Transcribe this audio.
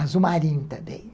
Azul Marinho também.